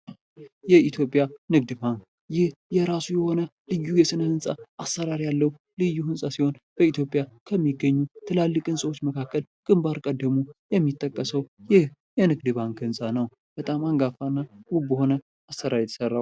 የኢትዮጵያ ንግድ ባንክ ፤ ይህ የራሱ የሆነ ልዩ የሆነ የህንፃ አሰራር ያለው ከኢትዮጵያ ህንጻዎች መካከል ግንባር ቀደሙ የሚጠቀሰው ይህ የንግድ ባንክ ህንፃ ነው። በጣም አንጋፋና ውብ በሆነ አሰራር የተሰራ ነው።